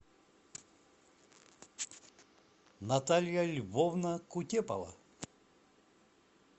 наталья львовна кутепова